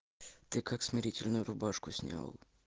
ты как смирительную рубашку снял